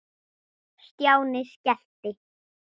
Stjáni skellti